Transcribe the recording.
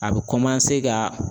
A bɛ ka